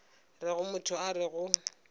rego motho a re go